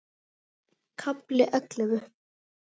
KAFLI ELLEFU